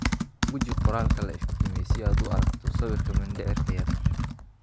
Guji qoraalka la iftiimiyay si aad u aragto sawirka mindhicirka yar.